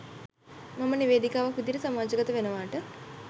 මම නිවේදිකාවක් විදිහට සමාජගත වෙනවාට.